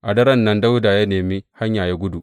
A daren nan Dawuda ya nemi hanya ya gudu.